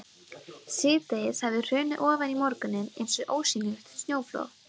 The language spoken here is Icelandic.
Síðdegið hafði hrunið ofan í morguninn eins og ósýnilegt snjóflóð.